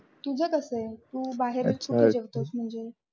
तुझ कस आहे तू बाहेरच राहते न